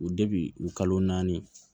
U u kalo naani